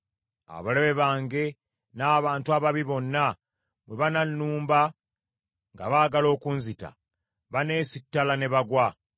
Abalabe bange n’abantu ababi bonna bwe banannumba nga baagala okunzita, baneesittala ne bagwa.